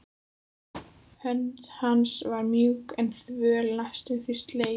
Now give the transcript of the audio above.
Hönd hans var mjúk en þvöl, næstum því sleip.